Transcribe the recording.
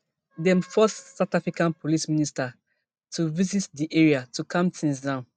dem force south africa police minister to visit di area to calm tins down